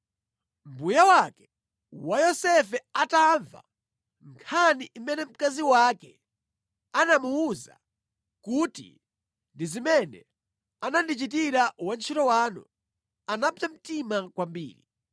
Mbuye wake wa Yosefe atamva nkhani imene mkazi wake anamuwuza kuti, “Ndi zimene anandichitira wantchito wanu,” anapsa mtima kwambiri.